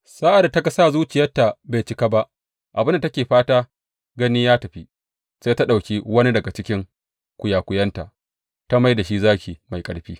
Sa’ad da ta ga sa zuciyarta bai cika ba, abin da take fata gani ya tafi, sai ta ɗauki wani daga cikin kwiyakwiyanta ta mai da shi zaki mai ƙarfi.